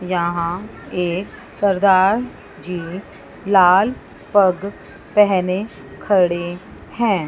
यहां एक सरदार जी लाल पग पहने खड़े हैं।